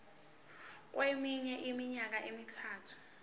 kweminye iminyaka emithathu